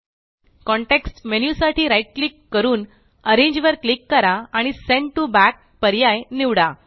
context menu साठी right click करून arrange वर क्लिक करा आणि सेंड टीओ बॅक पर्याय निवडा